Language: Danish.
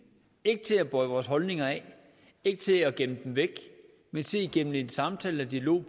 ikke til at bøje vores holdninger af ikke til at gemme dem væk men til igennem en samtale og dialog